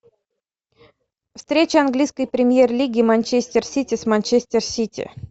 встреча английской премьер лиги манчестер сити с манчестер сити